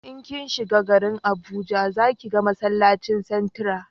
in kin shiga garin abuja za ki ga masallacin santra